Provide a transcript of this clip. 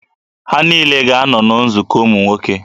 Ha niile ga-anọ na nzukọ ụmụ nwoke